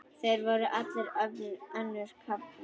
Þeir voru allir önnum kafnir.